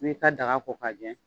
N'i y'i ka daga ko ka jɛ